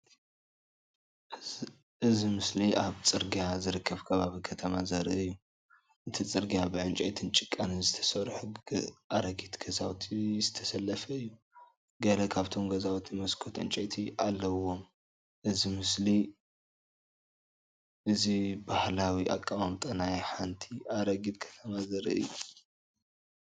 እዚ ምስሊ ኣብ ጽርግያ ዝርከብ ከባቢ ከተማ ዘርኢ እዩ። እቲ ጽርግያ ብዕንጨይትን ጭቃን ዝተሰርሑ ኣረጊት ገዛውቲ ዝተሰለፈ እዩ። ገለ ካብቶም ገዛውቲ መስኮት ዕንጨይቲ ኣለዎም። እዚ ምስሊ እዚ ባህላዊ ኣቀማምጣ ናይ ሓንቲ ኣረጊት ከተማ ዘርኢ እዩ።